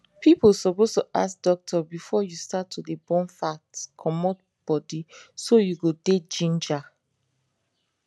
people suppose to ask doctor before you start to de burn fat comot body so you go dey ginger